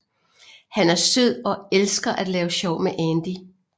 Han er sød og elsker at lave sjov med Andy